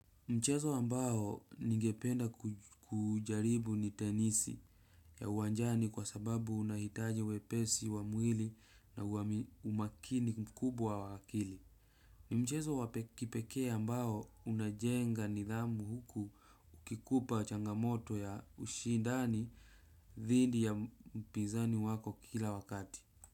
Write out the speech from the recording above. Mchezo ambao ningependa kujaribu ni tenisi ya uwanjani kwa sababu unahitaji wepesi wa mwili na umakini mkubwa wa akili. Ni mchezo wa kipekee ambao unajenga nidhamu huku ukikupa changamoto ya ushindani dhidi ya mpizani wako kila wakati.